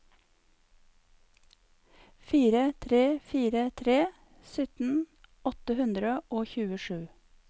fire tre fire tre sytten åtte hundre og tjuesju